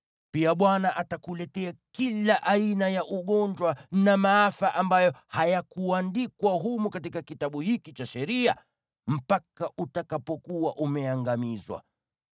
Pia Bwana atakuletea kila aina ya ugonjwa na maafa ambayo hayakuandikwa humu katika kitabu hiki cha sheria, mpaka utakapokuwa umeangamizwa.